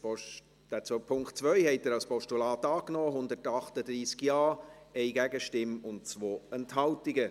Auch Punkt 2 haben Sie als Postulat angenommen, mit 138 Ja- gegen 1 Nein-Stimme bei 2 Enthaltungen.